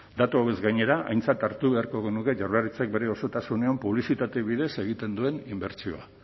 datu hauez gainera aintzat hartu beharko genuke jaurlaritzak bere osotasunean publizitate bidez egiten duen inbertsioa